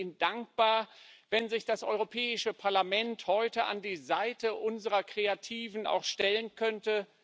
Ich wäre Ihnen dankbar, wenn sich das Europäische Parlament heute auch an die Seite unserer Kreativen stellen könnte.